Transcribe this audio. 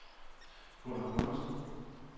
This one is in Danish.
Gunnar Gundersen